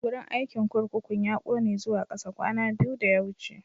Wurin aikin kurkukun ya ƙone zuwa kasa kwana biyu da ya wuce.